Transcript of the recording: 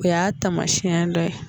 O y'a tamasiɲɛ dɔ ye